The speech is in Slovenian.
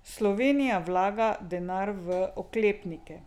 Slovenija vlaga denar v oklepnike.